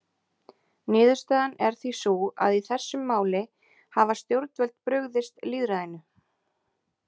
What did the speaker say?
Niðurstaðan er því sú að í þessum máli hafa stjórnvöld brugðist lýðræðinu.